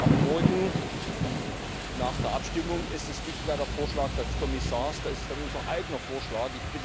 ab morgen nach der Abstimmung ist es nicht mehr der Vorschlag des Kommissars, da ist es dann unser eigener Vorschlag.